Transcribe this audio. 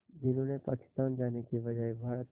जिन्होंने पाकिस्तान जाने के बजाय भारत